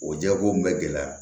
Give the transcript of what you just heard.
O jɛkulu in bɛ gɛlɛya